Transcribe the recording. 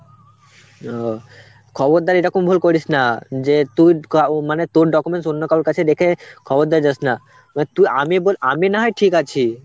ওহ, খবরদার এরকম ভুল করিস না, যে তুই কাউ মানে তোর documents অন্য কারো কাছে রেখে খবরদার যাস না দেখ তুই আমি বল~ আমি না হয় ঠিক আছি